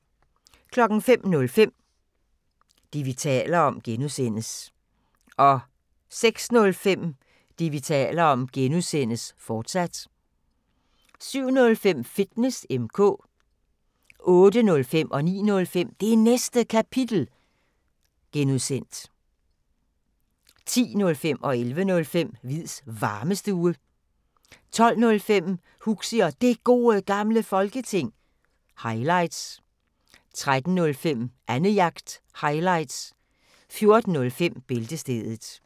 05:05: Det, vi taler om (G) 06:05: Det, vi taler om (G), fortsat 07:05: Fitness M/K 08:05: Det Næste Kapitel (G) 09:05: Det Næste Kapitel (G) 10:05: Hviids Varmestue 11:05: Hviids Varmestue 12:05: Huxi og Det Gode Gamle Folketing – highlights 13:05: Annejagt – highlights 14:05: Bæltestedet